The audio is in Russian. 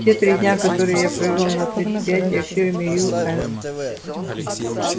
те три дня которые я провёл на предприятиях фирмы ю с